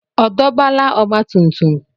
Ọ dọbala ọgbatumtum?